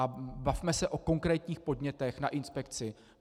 A bavme se o konkrétních podnětech na inspekci.